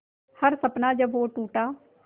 हर सपना जब वो टूटा